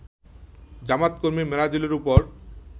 জামায়াত কর্মী মেরাজুলের উপর